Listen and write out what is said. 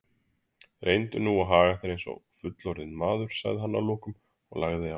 Reyndu nú að haga þér einsog fullorðinn maður, sagði hann að lokum og lagði á.